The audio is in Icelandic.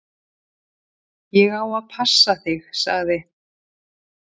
"""Ég á að passa þig, sagði"""